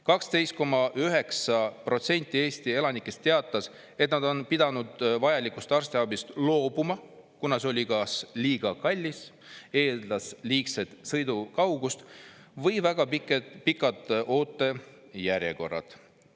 12,9% Eesti elanikest teatas, et nad on pidanud vajalikust arstiabist loobuma, kuna see oli kas liiga kallis, eeldas liigset sõidukaugust või olid väga pikad ootejärjekorrad.